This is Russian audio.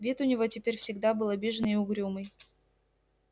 вид у него теперь всегда был обиженный и угрюмый